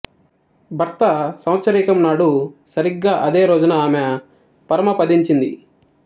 భర్త సంవత్సరీకం నాడు సరిగా అదే రోజున ఆమె పరమపదించింది